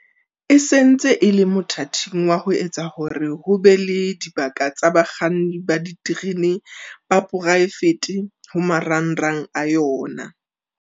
E sentse e le mothating wa ho etsa hore ho be le dibaka tsa bakganni ba diterene ba poraefete ho marangrang a yona.